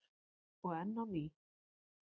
Og enn á ný.